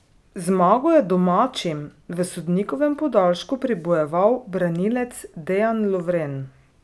Zmago je domačim v sodnikovem podaljšku pribojeval branilec Dejan Lovren.